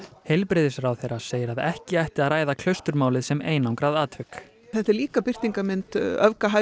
heilbrigðisráðherra segir að ekki ætti að ræða Klausturmálið sem einangrað atvik þetta er líka birtingarmynd